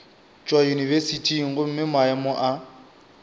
tšwa yunibesithing gomme maemo a